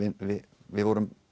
við vorum